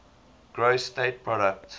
gross state product